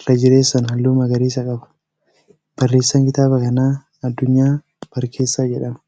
irra jireessaan halluu magaariisa qaba. Barreessaan kitaaba kanaa Addunyaa Barkeessaa Dursaati.